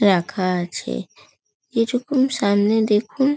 রাখা আছে। কিছুক্ষণ সামনে দেখুন।